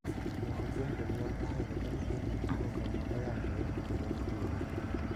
Moko kuom jonyuol ohero ka nyithindgi tugo kama oyangore kendo ni thuolo.